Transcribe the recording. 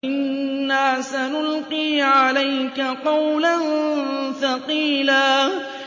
إِنَّا سَنُلْقِي عَلَيْكَ قَوْلًا ثَقِيلًا